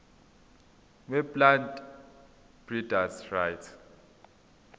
weplant breeders rights